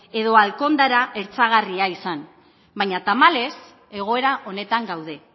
edo alkandora hertsagarria izan baina tamalez egoera honetan gaude